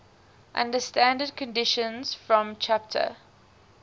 under standard conditions from ch